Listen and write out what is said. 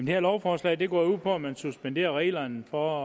her lovforslag går ud på at man suspenderer reglerne for